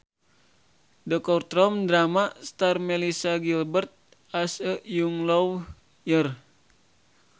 The courtroom drama stars Melissa Gilbert as a young lawyer